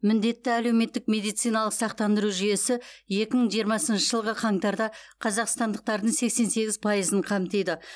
міндетті әлеуметтік медициналық сақтандыру жүйесі екі мың жиырмасыншы жылғы қаңтарда қазақстандықтардың сексен сегіз пайызын қамтиды